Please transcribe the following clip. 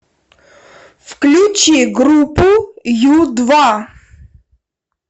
включи группу ю два